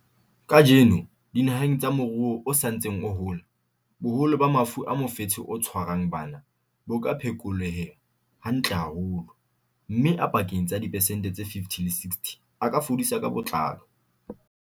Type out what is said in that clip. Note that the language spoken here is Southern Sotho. Kajeno, dinaheng tsa moruo o sa ntseng o hola, boholo ba mafu a mofetshe o tshwarang bana bo ka phekoleha hantle haholo, mme a pakeng tsa diphesente tse 50 le tse 60 a ka fodiswa ka botlalo.